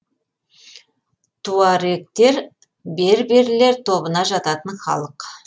туарегтер берберлер тобына жататын халық